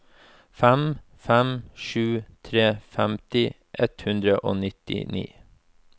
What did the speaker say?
fem fem sju tre femti ett hundre og nittini